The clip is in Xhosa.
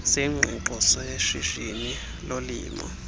sengqiqo seshishini lolimo